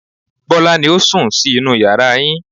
Bọ́lá ni ó sùn sí inú yàrá yín